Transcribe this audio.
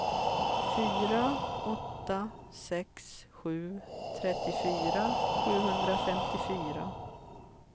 fyra åtta sex sju trettiofyra sjuhundrafemtiofyra